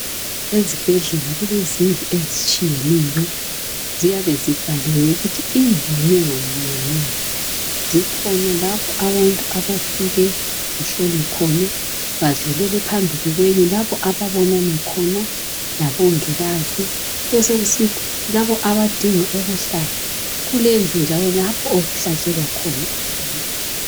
Ezibhedlela kulezindlu ezitshiyeneyo. Ziyabe zibhaliwe ukuthi indlu yinye ngayinye ngeyani. Zikhona lapho abantu abafika bahlolwe khona badlulele phambili lapho ababonana khona la Bongikazi. Kube sokusithi labo abadinga ukuhlatshwa kulendlu njalo okuhlatshelwa khona abantu.